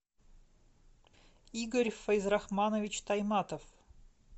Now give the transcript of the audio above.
игорь файзрахманович тайматов